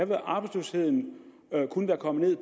vil arbejdsløsheden kun være kommet